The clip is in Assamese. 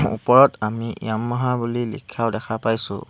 ওপৰত আমি য়ামাহা বুলি লিখাও দেখা পাইছোঁ।